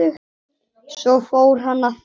Svo fór hann að flissa.